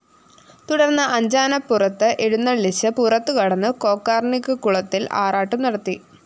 തുടര്‍ന്ന് അഞ്ചാനപ്പുറത്ത് എഴുന്നള്ളിച്ച് പുറത്തു കടന്ന് കൊക്കര്‍ണിക്കുളത്തില്‍ ആറാട്ടും നടത്തി